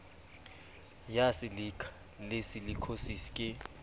ya silikha le silikhosis ke